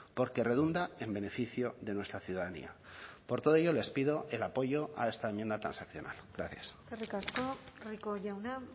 porque redunda en beneficio de nuestra ciudadanía por todo ello les pido el apoyo a esta enmienda transaccional gracias eskerrik asko rico jauna